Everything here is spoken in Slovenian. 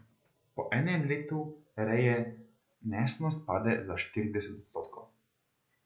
Po enem letu reje nesnost pade za štirideset odstotkov.